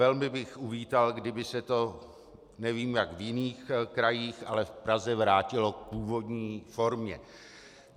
Velmi bych uvítal, kdyby se to, nevím, jak v jiných krajích, ale v Praze vrátilo k původní formě.